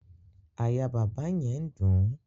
Àyà bàbá arúgbó yẹn ń dùn ún